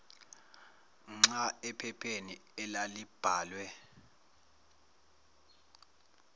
nhla ephepheni elalibhalwe